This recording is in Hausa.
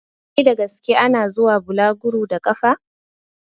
Wai da gaske ana zuwa bulaguru a ƙafa?